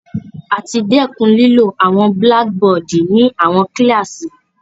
A ti dẹkun lilo awọn blackboardi ni awọn kilasi